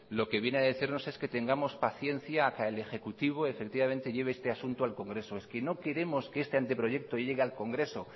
lo que viene a decirnos es que tengamos paciencia a que el ejecutivo lleve este asunto al congreso es que no queremos que este anteproyecto llegue al congreso